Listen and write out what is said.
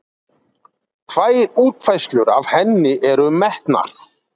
Tvær útfærslur af henni eru metnar